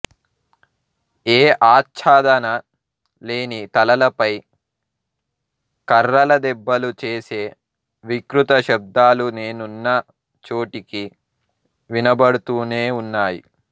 ఏ ఆచ్ఛాదనా లేని తలలపై కర్రల దెబ్బలు చేసే వికృత శబ్దాలు నేనున్న చోటికి వినబడుతూనే ఉన్నాయి